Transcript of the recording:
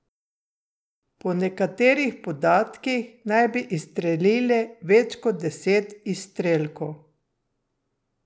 Po nekaterih podatkih naj bi izstrelili več kot deset izstrelkov.